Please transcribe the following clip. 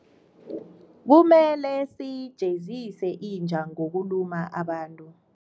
Kumele siyijezise inja ngokuluma abantu.